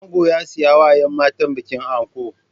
Ango ya siyawa yan matan bikin anko